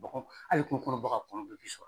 hali kungokɔnɔ baganw kɔnɔnw bɛɛ bɛ sɔgɔ